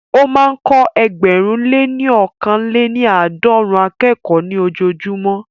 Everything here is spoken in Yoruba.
Ó máa ń kọ́ ẹgbẹ̀rún lé ní ọkàn lè ní àádọ́rùn-ún akẹ́kọ̀ọ́ ní ojojúmọ́